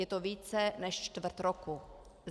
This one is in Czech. Je to více než čtvrt roku.